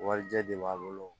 Warijɛ de b'a bolo